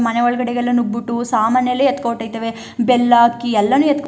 ಮನೆಯೊಗೆಲ್ಲ ನೂಗಬಿಟ್ಟು ಸಾಮಾನೆಲ್ಲ ಎತ್ತ್ಕೊಂಡು ಹೋಯಿತವೇ ಬೆಲ್ಲ ಅಕ್ಕಿ ಎಲ್ಲ ಎತ್ತ್ಕೊಂಡು--